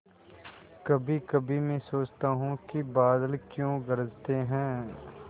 कभीकभी मैं सोचता हूँ कि बादल क्यों गरजते हैं